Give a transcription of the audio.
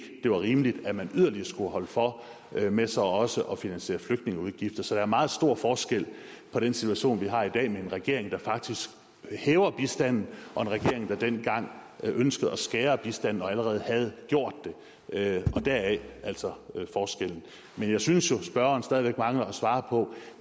det var rimeligt at man yderligere skulle holde for med så også at finansiere flygtningeudgifter så der er meget stor forskel på den situation vi har i dag med en regering der faktisk hæver bistanden og en regering der dengang ønskede at skære i bistanden og allerede havde gjort det og deraf altså forskellen men jeg synes jo spørgeren stadig mangler at svare på